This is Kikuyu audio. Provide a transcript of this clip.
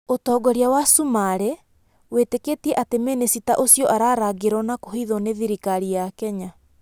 ũtongoria wa Cumaarĩ wĩtĩkĩtie atĩ mĩnĩcita ũcio ararangĩrwo na kũhithwo nĩ thirikari ya Kenya.